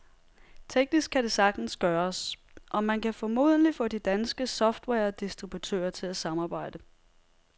Teknisk kan det sagtens gøres, og man kan formodentlig få de danske softwaredistributører til at samarbejde.